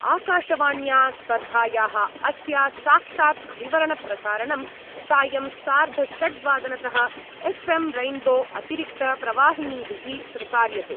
आकाशवाण्या स्पर्धायाः अस्या साक्षात् विवरणप्रसारणं सायं सार्धषड्वादनतः एफ् एम् रैन्बो अतिरिक्तप्रवाहिनीभिः प्रसार्यते।